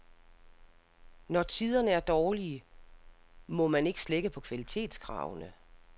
Når tiderne er dårlige, må man ikke slække på kvalitetskravene.